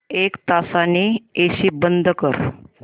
एक तासाने एसी बंद कर